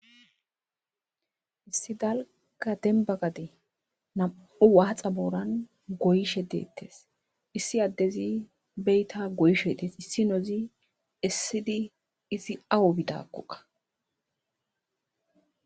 issi dalga demba gade nam7u waaxa booran goyshe deettes issi addezi beyta goyshe des issi nozi essidi izi awu bidakquqa